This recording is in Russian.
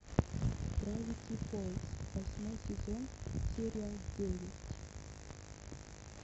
гравити фолз восьмой сезон серия девять